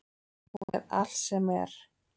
Hún er allt sem er.